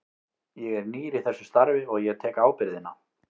Ég er nýr í þessu starfi og ég tek ábyrgðina.